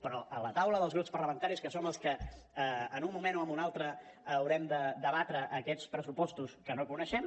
però a la taula dels grups parlamentaris que som els que en un moment o en un altre haurem de debatre aquests pressupostos que no coneixem